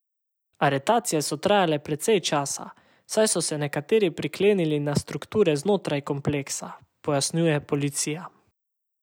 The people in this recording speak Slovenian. Aretacije so trajale precej časa, saj so se nekateri priklenili na strukture znotraj kompleksa, pojasnjuje policija.